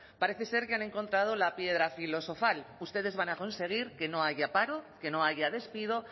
parece ser que han encontrado la piedra filosofal ustedes van a conseguir que no haya paro que no haya despido